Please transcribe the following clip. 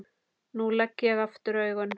Nú legg ég augun aftur.